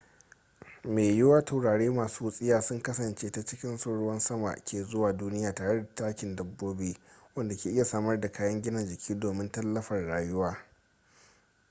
mai yiwuwa taurari masu wutsiya sun kasance ta cikinsu ruwan sama ke zuwa duniya tare da takin dabbobi wanda ke iya samar da kayan gina jiki domin tallafar rayuwa